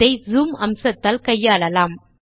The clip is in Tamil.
இதை ஜூம் அம்சத்தால் கையாளலாம்